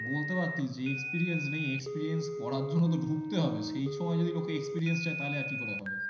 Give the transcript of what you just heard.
বলতে পারতিস যে experience নেই experience করার জন্যতো ঢুকতে হবে সেই সময় যদি লোকে experience চায় তাহলে আর কি করে হবে